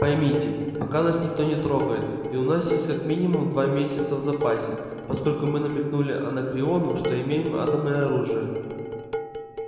поймите пока нас никто не трогает и у нас есть как минимум два месяца в запасе поскольку мы намекнули анакреону что имеем атомное оружие